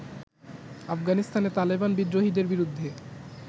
আফগানিস্তানে তালেবান বিদ্রোহীদের বিরুদ্ধে